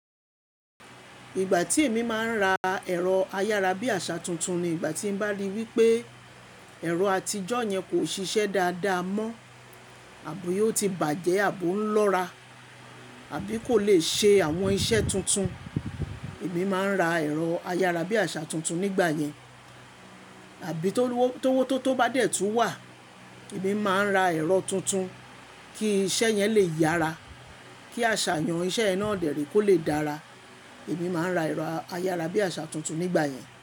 Ìgbà tí èmi máa ń ra ẹ̀rọ ayára bí àṣà tuntun ni ìgbà tí bá rí wípé ẹ̀rọ àtijọ́ yẹn kò ṣiṣẹ́ dáadáa mọ́ àbí ó ti bàjẹ́ àbí ó ń lọ́ra àbí kò lè ṣe àwọn iṣẹ́ tuntun. Èmi máa ń ra ẹ̀rọ ayára bí àṣà tuntun nígbà yẹn. Àbí tó wó tó tó bá dẹ̀ tu wà, èmi máa ń ra ẹ̀rọ tuntun kí iṣẹ́ yẹn lè yára. Kí àṣàyàn iṣẹ́ ẹ náà dẹ̀rè kò lè dára, èmi máa ń ra ẹ̀rọ ayára bí àṣà tuntun nígbà yẹn.